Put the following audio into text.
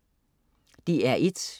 DR1: